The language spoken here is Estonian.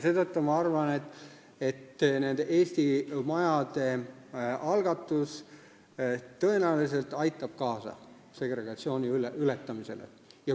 Seetõttu ma arvan, et eesti majade algatus tõenäoliselt aitab kaasa segregatsiooni ületamisele.